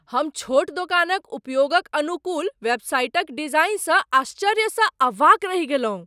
हम छोट दोकानक उपयोगक अनुकूल वेबसाइटक डिजाइनसँ आश्चर्यसँ अवाक रहि गेलहुँ।